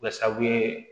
Kɛ sabu